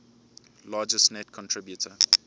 largest net contributor